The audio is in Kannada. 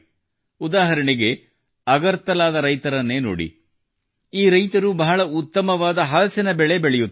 ಉದಾಹರಣೆಗೆ ಅಗರ್ತಲಾದ ರೈತರನ್ನೇ ನೋಡಿ ಈ ರೈತರು ಬಹಳ ಉತ್ತಮವಾದ ಹಲಸಿನ ಹಣ್ಣು ಬೆಳೆಯುತ್ತಾರೆ